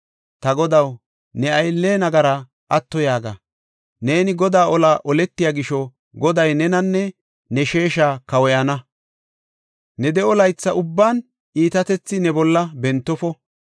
Ta godaw, ne aylle nagaraa atto yaaga! Neeni Godaa olaa oletiya gisho, Goday nenanne ne sheesha kawoyana. Ne de7o laytha ubban iitatethi ne bolla bentofo.